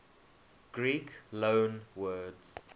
greek loanwords